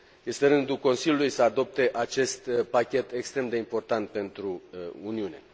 Este rândul Consiliului să adopte acest pachet extrem de important pentru Uniune.